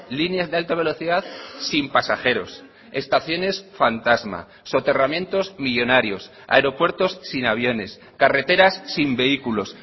líneas de alta velocidad sin pasajeros estaciones fantasma soterramientos millónarios aeropuertos sin aviones carreteras sin vehículos